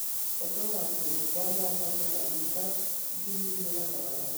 Ũkũraga kundũ Kwa mũabato wa mita ngiri igĩrĩ na magana matano nginya ngiri ithatũ igũrũ ria ĩrĩa